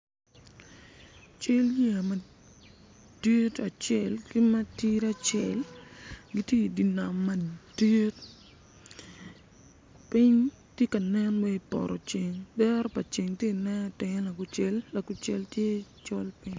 Cal yeya madit acel ki ma tidi acel gitye idye nam madit piny tye ka nen waci poto ceng dero pa ceng tye inen itenge lakucel lakucel tye col piny.